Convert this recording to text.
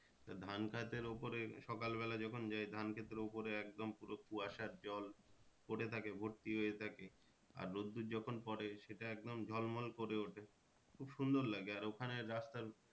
তা ধান খেতের ওপরে সকাল বেলা যখন যাই ধান খেতের ওপরে একদম পুরো কুয়াশার জল পরে থাকে ভর্তি হয়ে থাকে। আর রোদ্দূর যখন পরে সেটা একদম ঝলমল করে ওঠে খুব সুন্দর লাগে আর ওখানে রাস্তার